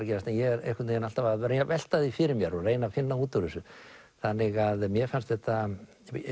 gerast en ég er alltaf að velta því fyrir mér og reyna að finna út úr þessu þannig að mér fannst þetta